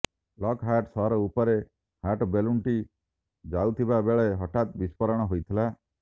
Lockhart ସହର ଉପରେ hot ବେଲୁନ୍ଟି ଯାଉଥିବା ବେଳେ ହଠାତ୍ ବିସ୍ଫୋରଣ ହୋଇଥିଲା